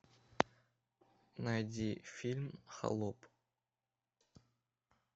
найди фильм холоп